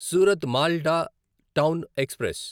Surat Malda town express